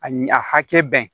A ɲe a hakɛ bɛn